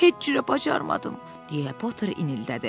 Heç cürə bacarmadım, deyə Poter inildədi.